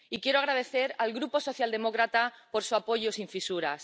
Y quiero agradecer al Grupo socialdemócrata su apoyo sin fisuras.